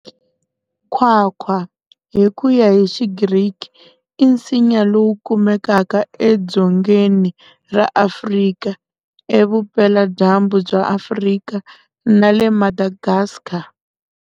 Nkwakwa, Hi kuya hi xi Griki, i nsinya lowu kumekaka edzongeni ra Afrika, e vupela-dyambu bya Afrika, na le Madagascar.